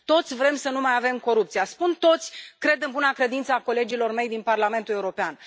Toți vrem să nu mai avem corupție. Spun toți, cred în buna credință a colegilor mei din Parlamentul European.